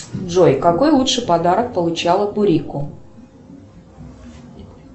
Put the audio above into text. джой какой лучший подарок получала турико